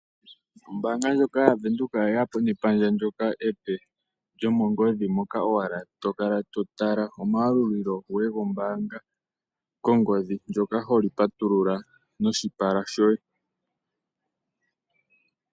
Ombaanga ndjono yaVenduka oyeya po nepandja ndyoka epe lyomongodhi moka owala to kala to tala omayalulilo goye gombaanga kongodhi , ndyoka holi pa tulula noshipala shoye .